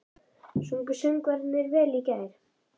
Sungu söngvararnir vel í gær?